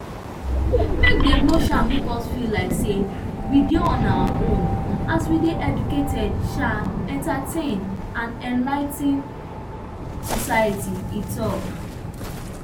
make dem no um make us feel like say we dey on our own as we dey educate um entertain and enligh ten society e tok